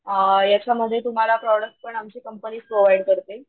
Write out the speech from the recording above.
अ याच्या मध्ये तुम्हाला प्रॉडक्ट पण आमची कंपनीचं प्रोव्हाइड करते.